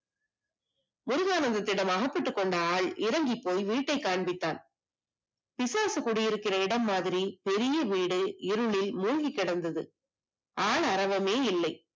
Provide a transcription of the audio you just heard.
முருகானந்தத்திடம் அகப்பட்டு கொண்டிருந்தால் இறங்கி போய் வீட்டை காண்பித்தான் பிசாசு குடியிருக்கிற இடம் மாதிரி பெரிய வீடு இருளில் மூழ்கி கிடந்தது கால் அரவமே இல்லை